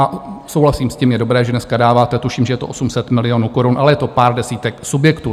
A souhlasím s tím, je dobré, že dneska dáváte, tuším, že je to 800 milionů korun, ale je to pár desítek subjektů.